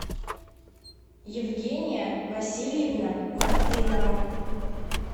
евгения васильевна мартынова